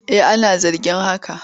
Eh ana zargin haka.